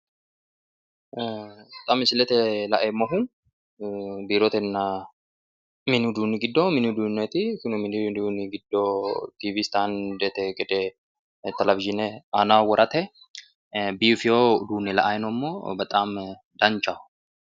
ee xa misilete laeemmohu biirotenna mini uduunni giddo kunni mini uduunneeti mini uduunni giddo tiiwi istaandete gede televizhiine aanaho worate biifino uduunne la'anni noommo bexaami danchaho.